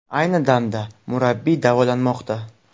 Ayni damda murabbiy davolanmoqda.